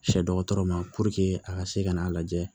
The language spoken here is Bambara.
Sɛ dɔgɔtɔrɔ ma a ka se ka n'a lajɛ